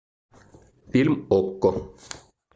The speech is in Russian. фильм окко